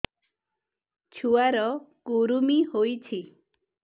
ଛୁଆ ର କୁରୁମି ହୋଇଛି